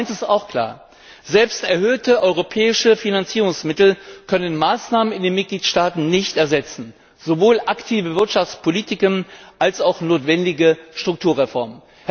Aber eins ist auch klar Selbst erhöhte europäische Finanzierungsmittel können Maßnahmen in den Mitgliedstaaten nicht ersetzen, sowohl aktive Wirtschaftspolitiken als auch notwendige Strukturreformen.